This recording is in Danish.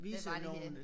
Vise nogle